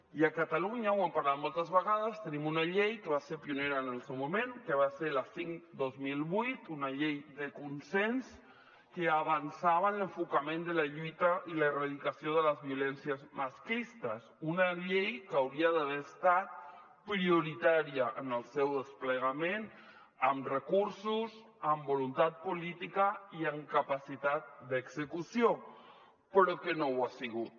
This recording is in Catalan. i a catalunya ho hem parlat moltes vegades tenim una llei que va ser pionera en el seu moment que va ser la cinc dos mil vuit una llei de consens que avançava en l’enfocament de la lluita i l’erradicació de les violències masclistes una llei que hauria d’haver estat prioritària en el seu desplegament amb recursos amb voluntat política i amb capacitat d’execució però que no ho ha sigut